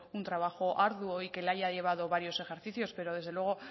un trabajo arduo y que le haya llevado varios ejercicios pero desde luego